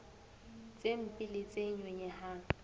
tse mpe le tse nyonyehang